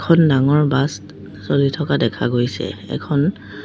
এখন ডাঙৰ বাছ চলি থকা দেখা গৈছে এখন--